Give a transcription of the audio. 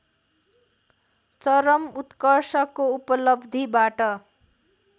चरम उत्कर्षको उपलब्धिबाट